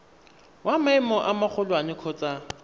wa maemo a magolwane kgotsa